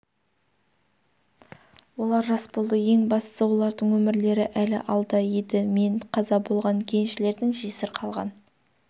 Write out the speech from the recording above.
олар жас болды ең бастысы олардың өмірлері әлі алда еді мен қаза болған кеншілердің жесір қалған